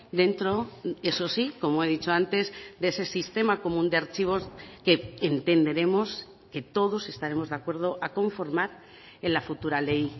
dentro eso sí como he dicho antes de ese sistema común de archivos que entenderemos que todos estaremos de acuerdo a conformar en la futura ley